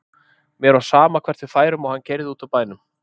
Mér var sama hvert við færum og hann keyrði út úr bænum.